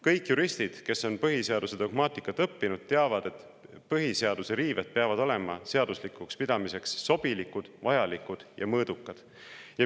Kõik juristid, kes on põhiseaduse dogmaatikat õppinud, teavad, et selleks, et põhiseaduse riiveid saaks seaduslikuks pidada, peavad need olema sobilikud, vajalikud ja mõõdukad.